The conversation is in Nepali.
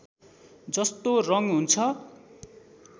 जस्तो रङ हुन्छ